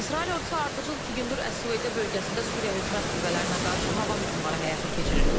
İsrail ordusu ardıcıl iki gündür Əs-Süveydə bölgəsində Suriya hökumət qüvvələrinə qarşı hava hücumları həyata keçirir.